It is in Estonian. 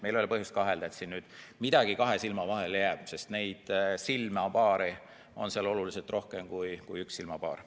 Meil ei ole põhjust kahelda, et midagi kahe silma vahele jääb, sest silmapaare on seal oluliselt rohkem kui üks.